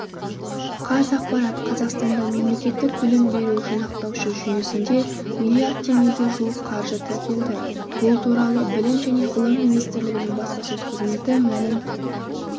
қазақпарат қазақстанда мемлекеттік білім беру жинақтаушы жүйесінде миллиард теңгеге жуық қаржы тіркелді бұл туралы білім және ғылым министрлігінің баспасөз қызметі мәлім